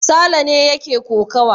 Sale ne yake kokawa.